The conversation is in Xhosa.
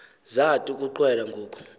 zathi ukuqwela ngoku